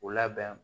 U labɛn